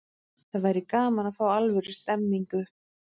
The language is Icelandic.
Það væri gaman að fá alvöru stemningu.